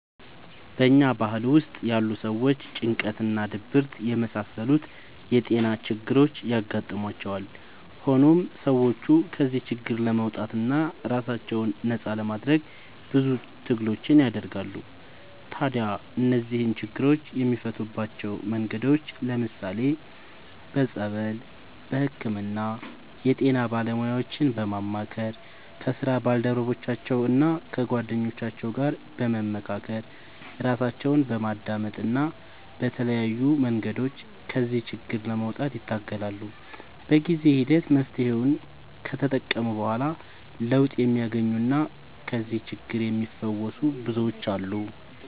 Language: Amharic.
በኛ ባህል ውስጥ ያሉ ሰዎች ጭንቀት እና ድብርት የመሳሰሉት የጤና ችግሮች ያጋጥሟቸዋል። ሆኖም ሰዎቹ ከዚህ ችግር ለመውጣትና ራሳቸውን ነፃ ለማድረግ ብዙ ትግሎችን ያደርጋሉ። ታዲያ እነዚህን ችግሮች የሚፈቱባቸው መንገዶች ለምሳሌ፦ በፀበል፣ በህክምና፣ የጤና ባለሙያዎችን በማማከር፣ ከስራ ባልደረቦቻቸው እና ከጓደኞቻቸው ጋር በመካከር፣ ራሳቸውን በማዳመጥ እና በተለያዩ መንገዶች ከዚህ ችግር ለመውጣት ይታገላሉ። በጊዜ ሂደት መፍትሔውን ከተጠቀሙ በኋላ ለውጥ የሚያገኙና ከዚህ ችግር የሚፈወሱ ብዙዎች አሉ።